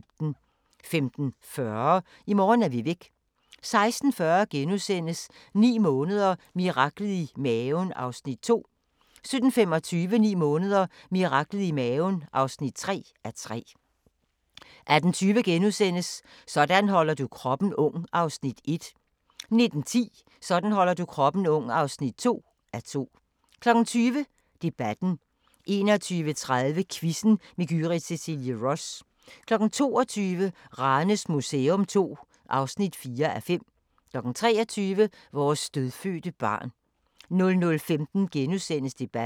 15:40: I morgen er vi væk 16:40: 9 måneder – miraklet i maven (2:3)* 17:25: 9 måneder – miraklet i maven (3:3) 18:20: Sådan holder du kroppen ung (1:2)* 19:10: Sådan holder du kroppen ung (2:2) 20:00: Debatten 21:30: Quizzen med Gyrith Cecilie Ross 22:00: Ranes Museum II (4:5) 23:00: Vores dødfødte barn 00:15: Debatten *